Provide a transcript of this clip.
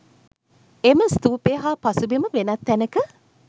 එම ස්තූපය හා පසුබිම වෙනත් තැනක